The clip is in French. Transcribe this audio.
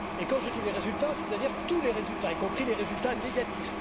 Quand je dis les résultats, je veux dire tous les résultats, y compris les résultats négatifs.